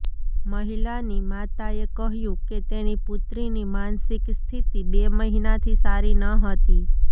મહિલાની માતાએ કહ્યું કે તેની પુત્રીની માનસિક સ્થિતિ બે મહિનાથી સારી ન હતી